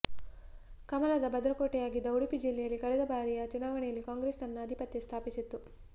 ಕಮಲದ ಭದ್ರಕೋಟೆಯಾಗಿದ್ದ ಉಡುಪಿ ಜಿಲ್ಲೆಯಲ್ಲಿ ಕಳೆದ ಬಾರಿಯ ಚುನಾವಣೆಯಲ್ಲಿ ಕಾಂಗ್ರೆಸ್ ತನ್ನ ಅಧಿಪತ್ಯ ಸ್ಥಾಪಿಸಿತ್ತು